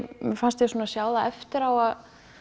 mér fannst ég svona sjá það eftir á að